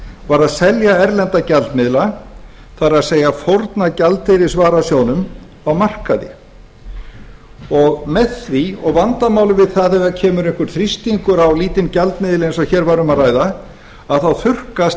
var að selja erlenda gjaldmiðla það er fórna gjaldeyrisvarasjóðnum á markaði og vandamálið við það ef kemur einhver þrýstingur á lítinn gjaldmiðil eins og hér var um að ræða þá þurrkast